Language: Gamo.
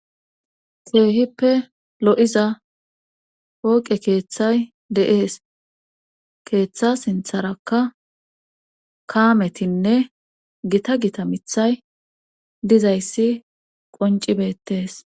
Seehippe lo7iza hooqe keeththay deees keeththa sintharakka kaametinne gita gita mithay dizayssi qoncibetees